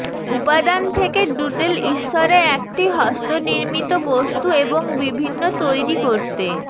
উপাদান থেকে ডুডল ঈশ্বরে একটি হস্তনির্মিত বস্তু এবং বিভিন্ন তৈরি করতে